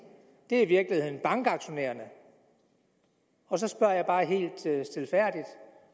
er i virkeligheden bankaktionærerne så spørger jeg bare helt stilfærdigt